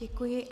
Děkuji.